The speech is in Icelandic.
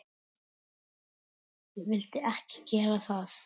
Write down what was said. Ég vildi ekki gera það.